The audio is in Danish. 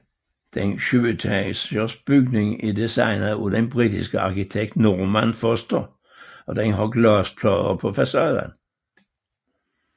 Den syvetagers bygning er designet af den britiske arkitekt Norman Foster og den har glasplader på facaden